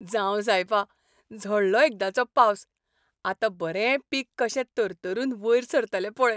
जांव सायबा, झडलो एकदांचो पावस. आतां बरें पीक कशें तरतरून वयर सरतलें पळय.